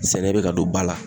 Sɛnɛ be ka don ba la